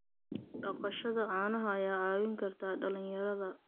Dhaqashada caanaha ayaa caawin karta dhalinyarada.